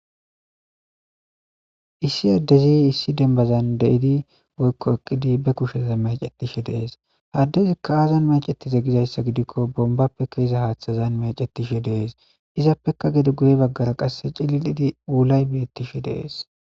issi addezi issi denbazan de7idi woykko eqqidi be kusheza macettishe dees haddezi kaazan macetize gizayssa gidikko bombappe keeza haaththazan mecetishe dees izappeka gede guye baggara qasse cili7idi wulay beettishi dees